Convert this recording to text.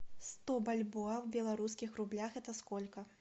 сто бальбоа в белорусских рублях это сколько